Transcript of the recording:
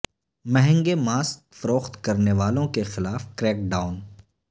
مہنگے ماسک فروخت کرنے والوں کے خلاف کریک ڈاون